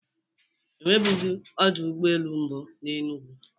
E nwebughi ọdọ ụgbọelu mbụ na Enugwu